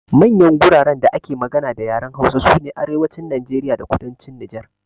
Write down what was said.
Manyan guraren da ake magana da yaren Hausa sune Arewacin Najeriya da Kudancin Nijar.